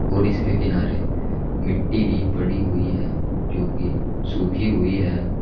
और इसके किनारे मिट्टी भी पड़ी हुई है जोकि सूखी हुई है।